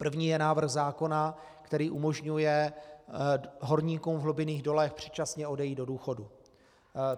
První je návrh zákona, který umožňuje horníkům v hlubinných dolech předčasně odejít do důchodu.